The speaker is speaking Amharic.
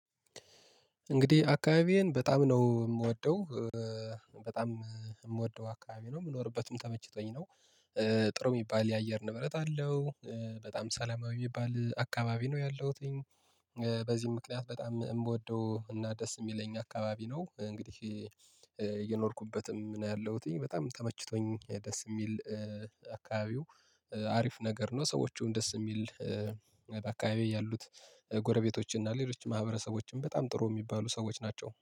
እንግዲህ አካባቢዬን በጣም ነው የምወደው በጣም የምወደው አካባቢ ነው የምኖርበትም ተመችቶኝ ነው። ጥሩ የሚባል የአየር ንብረት አለው በጣም ሰላማዊ የሚባል አካባቢ ነው ያለሁት። በዚህ ምክንያት በጣም የምወደው እና ደስ የሚለኝ አካባቢ ነው። እንግዲህ የኖርኩበትም ያለሁት በጣም ተመችቶኝ ደስ የሚል አካባቢው አሪፍ ነገር ነው። ሰዎቹን ደስ የሚል አካባቢ ያሉት ጎረቤቶችና ሌሎች ማህበረሰቦችም በጣም ጥሩ የሚባሉ ሰዎች ናቸው